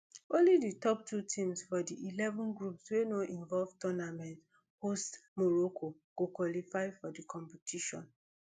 only di top two teams for di eleven groups wey no involve tournament hosts morocco go qualify for di competition